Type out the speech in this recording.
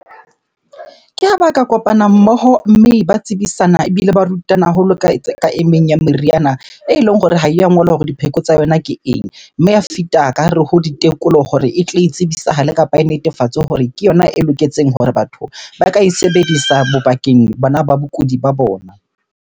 Ke ha ba ka kopana mmoho mme ba tsebisana, ebile ba rutana haholo ka e meng ya meriana eleng hore ha ya ngolwa hore dipheko tsa yona ke eng? Mme ya ka hare ho ditekolo hore e tle e tsebisahale kapa e netefatswe hore ke yona e loketseng hore batho ba ka e sebedisa bo bakeng bona ba bakudi ba bona.